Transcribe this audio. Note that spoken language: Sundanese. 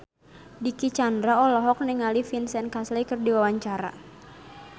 Dicky Chandra olohok ningali Vincent Cassel keur diwawancara